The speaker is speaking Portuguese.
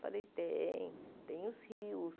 Falei, tem, tem os rios.